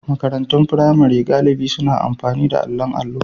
Makarantun firamare galibi suna amfani da allon allo.